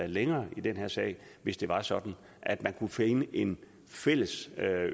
længere i den her sag hvis det var sådan at man kunne finde en fælles